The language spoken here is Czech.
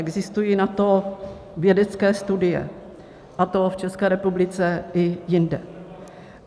Existují na to vědecké studie, a to v České republice i jinde.